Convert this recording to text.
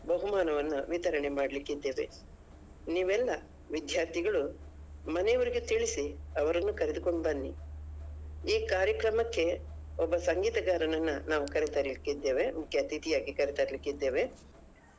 ಬಹುಮಾನವನ್ನ ವಿತರಣೆ ಮಾಡ್ಲಿಕ್ಕೆ ಇದ್ದೇವೆ ನೀವೆಲ್ಲ ವಿದ್ಯಾರ್ಥಿಗಳು ಮನೆಯವರಿಗೆ ತಿಳಿಸಿ ಅವರನ್ನು ಕರೆದುಕೊಂಡು ಬನ್ನಿ ಈ ಕಾರ್ಯಕ್ರಮಕ್ಕೆ ಒಬ್ಬ ಸಂಗೀತಗಾರನನ್ನ ನಾವು ಕರೆತರ್ಲಿಕ್ಕೆ ಇದ್ದೇವೆ ಮುಖ್ಯ ಅತಿಥಿಯಾಗಿ ಕರೆತರ್ಲಿಕ್ಕೆ ಇದ್ದೇವೆ.